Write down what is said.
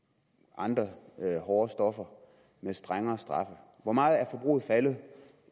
andre hårde stoffer med strengere straffe hvor meget er forbruget faldet